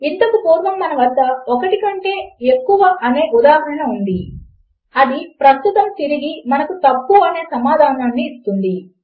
ఇంతకు పూర్వము మన వద్ద 1 కంటే ఒకటి ఎక్కువ అనే ఉదాహరణ ఉన్నది అది ప్రస్తుతము తిరిగి మనకు తప్పు అనే సమాధానమును ఇస్తుంది